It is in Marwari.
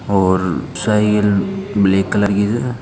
और साइकल ब्लैक कलर की है।